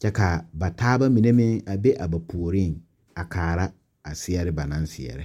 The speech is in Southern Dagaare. kyɛ ka ba taabamine meŋ a be ba puoriŋ a kaara a zeɛre ba naŋ seɛrɛ.